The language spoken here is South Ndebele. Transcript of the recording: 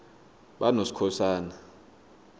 banoskhosana